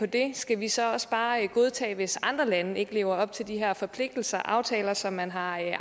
det skal vi så også bare godtage det hvis andre lande ikke lever op til de her forpligtelser og aftaler som man har